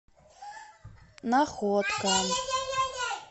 находка